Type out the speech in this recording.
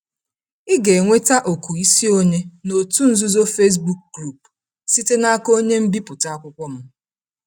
Ị ga-enweta oku isonye n’otu nzuzo Facebook Group site n’aka onye mbipụta akwụkwọ m.